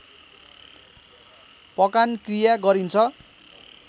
पकान क्रिया गरिन्छ